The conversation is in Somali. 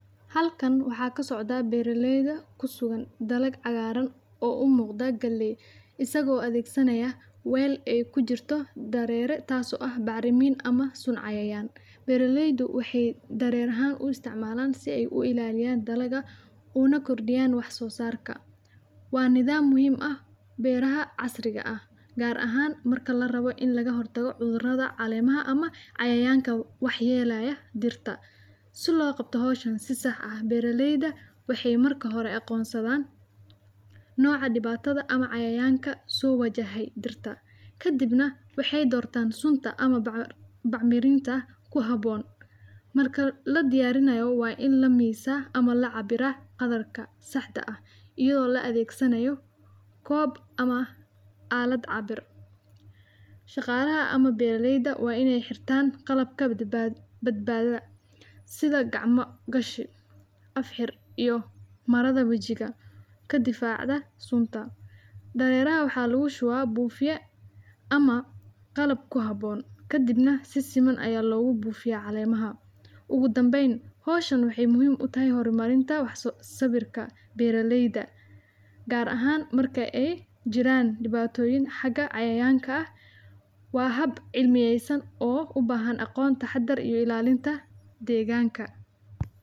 Halkan waxaa ka socda beerileyda ku sugan dalag cagaaran oo u muuqda gali isagoo adeegsanaya weyl ay ku jirto dareere taaso ah bacrimiin ama sun cayayaan. Beerileydu waxay dareerahaan u isticmaalaan si ay u ilaaliyaan dalaga una kordhiyaan wax soo saarka. Waa nidaam muhim ah beeraha casriga ah gaar ahaan marka la rabo in laga hortago cudurada caleemaha ama cayayaanka waxyeelaya dhirta. Suu loo qabtahooshin si sax ah beerileyda waxay marka hore aqoonsadaan nooca dhibaatada ama cayayaanka soo wajahay dhirta. Ka dibna waxay doortaan sunta ama bac mirinta ku haboon. Marka la diyaarinayo waa in la miisa ama la cabira qadarka saxda ah iyadoo la adeegsanayo koob ama aalad cabir. Shaqaalaha ama beerileyda waa inay xirtaan qalab ka badbaada sida gacmo gashi, af xir iyo marada wajiga ka difaaca sunta. Dareeraha waxaa lagu shubaa buufiya ama qalab ku habboon. Ka dibna si siman ayaa loogu buufiyaa caleemaha ugu dambeyn. Hooshan wixii muhim utay horumarinta wax sababta beerileyda gaar ahaan marka ay jiraan dhibaatooyin xaga cayaanka ah. Waa hab cilmiyeysan oo u baahan aqoon taxadar iyo ilaalinta deegaanka.